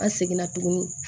An seginna tuguni